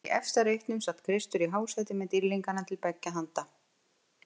Í efsta reitnum sat Kristur í hásæti með dýrlinga til beggja handa.